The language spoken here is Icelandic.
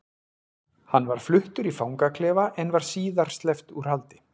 Hann var fluttur í fangaklefa en var síðar sleppt úr haldi.